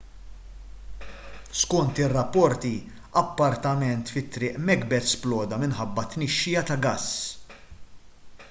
skont ir-rapporti appartament fi triq macbeth sploda minħabba tnixxija ta' gass